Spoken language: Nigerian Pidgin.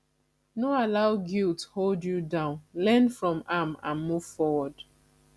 no allow guilt hold you down learn from am and move forward